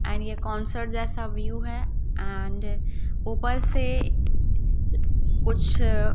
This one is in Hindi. एंड ये कॉन्सर्ट जैसा व्यूह है एंड ऊपर से कुछ अ--